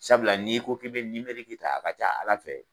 Sabula n'i ko k'i bɛ ta a ka ca Ala fɛ